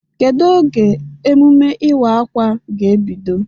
Kedu oge emume iwa-akwa ga-ebido?